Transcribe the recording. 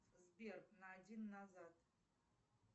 сбер на один назад